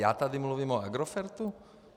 Já tady mluvím o Agrofertu?